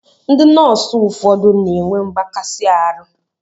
Ndị nọọsụ ụfọdụ na-enwe mgbakasi arụ.